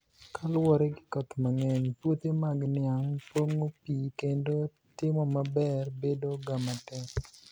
kaluwore gi koth manigeniy puothe mag niianig ponigo pii kenido timo maber bedo gamatek